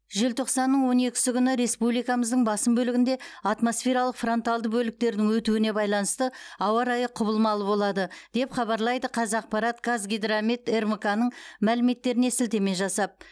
желтоқсанның он екісі күні республикамыздың басым бөлігінде атмосфералық фронталды бөліктердің өтуіне байланысты ауа райы құбылмалы болады деп хабарлайды қазақпарат қазгидромет рмк ның мәліметтеріне сілтеме жасап